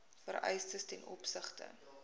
vereistes ten opsigte